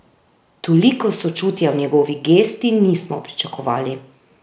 Toliko sočutja v njegovi gesti nismo pričakovali!